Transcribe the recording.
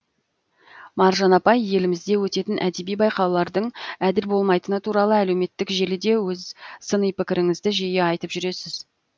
маржан апай елімізде өтетін әдеби байқаулардың әділ болмайтыны туралы әлеуметтік желіде өз сыни пікіріңізді жиі айтып жүрсіз